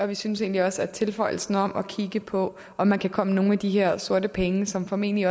vi synes egentlig også at tilføjelsen om at kigge på om man kan komme nogle af de her sorte penge som formentlig